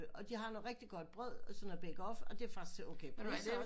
Og de har noget rigtigt godt brød sådan noget bake off og det er faktisk til okay priser